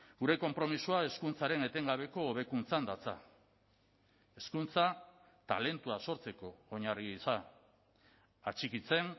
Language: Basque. gure konpromisoa hezkuntzaren etengabeko hobekuntzan datza hezkuntza talentua sortzeko oinarri gisa atxikitzen